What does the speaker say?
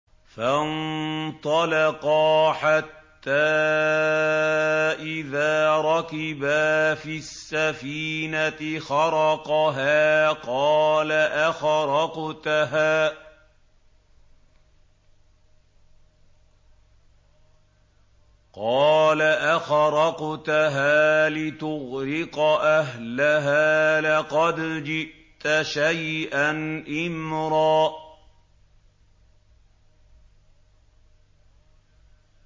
فَانطَلَقَا حَتَّىٰ إِذَا رَكِبَا فِي السَّفِينَةِ خَرَقَهَا ۖ قَالَ أَخَرَقْتَهَا لِتُغْرِقَ أَهْلَهَا لَقَدْ جِئْتَ شَيْئًا إِمْرًا